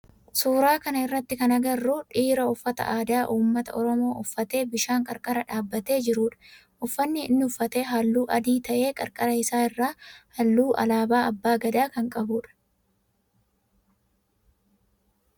Suuraa kana irratti kan agarru dhiira uffata aadaa ummata oromoo uffatee bishaan qarqara dhaabbatee jirudha. Uffanni inni uffate halluu adii ta'ee qarqara isaa irraa halluu alaabaa abbaa Gadaa kan qabudha.